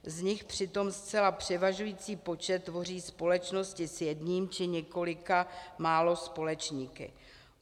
Z nich přitom zcela převažující počet tvoří společnosti s jedním či několika málo společníky.